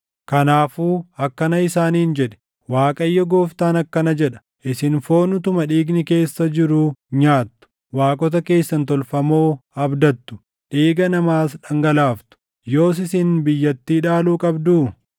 Kanaafuu akkana isaaniin jedhi; ‘ Waaqayyo Gooftaan akkana jedha: Isin foon utuma dhiigni keessa jiruu nyaattu; waaqota keessan tolfamoo abdattu; dhiiga namaas dhangalaaftu; yoos isin biyyattii dhaaluu qabduu?